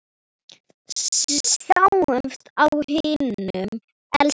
Sjáumst á himnum, elsku pabbi.